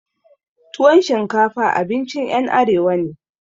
Tuwan shinkafa abincin ƴan arewa ne